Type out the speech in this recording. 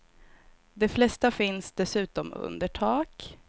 De flesta finns dessutom under tak.